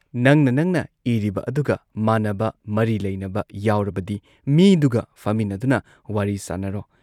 ꯅꯪꯅ ꯅꯪꯅ ꯏꯔꯤꯕ ꯑꯗꯨꯒ ꯃꯥꯟꯅꯕ, ꯃꯔꯤ ꯂꯩꯅꯕ ꯌꯥꯎꯔꯕꯗꯤ ꯃꯤꯗꯨꯒ ꯐꯝꯃꯤꯟꯅꯗꯨꯅ ꯋꯥꯔꯤ ꯁꯥꯟꯅꯔꯣ ꯫